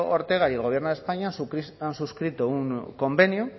ortega y el gobierno de españa han suscrito un convenio